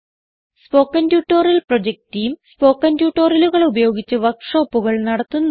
spoken tutorial project team spoken ട്യൂട്ടോറിയലുകൾ ഉപയോഗിച്ച് വർക്ക് ഷോപ്പുകൾ നടത്തുന്നു